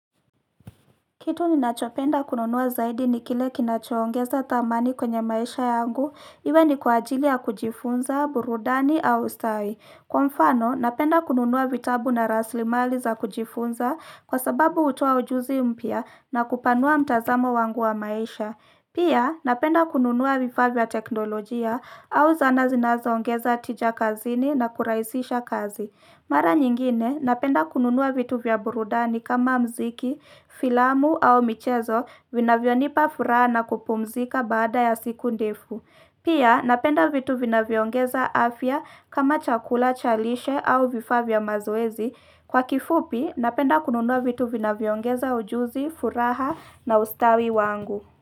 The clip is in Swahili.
Kitu ninachopenda kununua zaidi ni kile kinacho ongeza thamani kwenye maisha yangu, iwe ni kwa ajili ya kujifunza, burudani au ustawi. Kwa mfano, napenda kununuwa vitabu na rasili mali za kujifunza kwa sababu hutuoa ujuzi mpya na kupanua mtazamo wangu wa maisha. Pia, napenda kununua vifaa vya teknolojia au zana zinazo ongeza atija kazini na kurahisisha kazi. Mara nyingine napenda kununua vitu vya burudani kama mziki, filamu au michezo vinavyo nipa furaha na kupumzika baada ya siku ndefu. Pia napenda vitu vina viongeza afya kama chakula cha lishe au vifaa vya mazoezi. Kwa kifupi napenda kununua vitu vinavyo ongeza ujuzi, furaha na ustawi wangu.